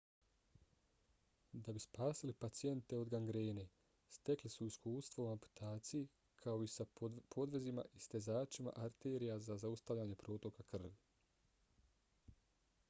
da bi spasili pacijente od gangrene stekli su iskustvo u amputaciji kao i sa podvezima i stezačima arterije za zaustavljanje protoka krvi